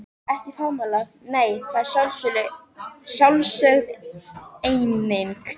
Ekki faðmlag nei, það er sjálfsögð eining.